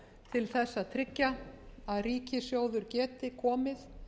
til þess að tryggja að ríkissjóður geti komið